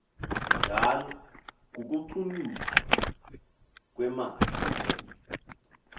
njalo kukucunyuzwa kwemafri